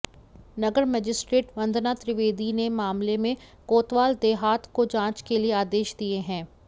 नगर magistrate Vandana Trivedi ने मामले में कोतवाल देहात को जांच के आदेश दिए हैं